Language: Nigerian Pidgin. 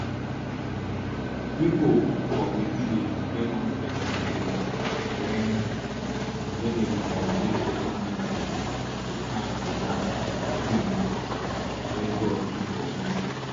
pipo for we village get one special day wen wen dem dey celebrate local medicine to tank di land and tins wey god put for bush